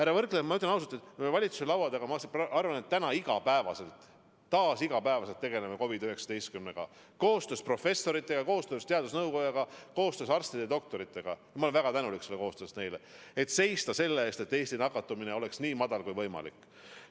Ma ütlen teile ausalt, et valitsuse laua taga tegeleme me täna peaaegu igapäevaselt, taas igapäevaselt, COVID-19-ga, tehes koostööd professorite, teadusnõukoja, arstide-doktoritega – ma olen neile väga tänulik selle koostöö eest –, et seista selle eest, et Eesti nakatumine oleks nii väike kui võimalik.